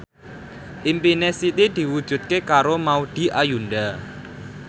impine Siti diwujudke karo Maudy Ayunda